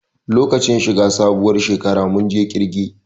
Lokacin shi ga sabuwar shekara mun je ƙirge